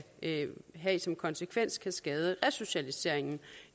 have som konsekvens kan skade resocialiseringen